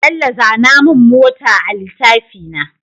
Bello zana mun mota a litafina